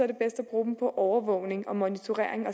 det bedst at bruge dem på overvågning og monitorering og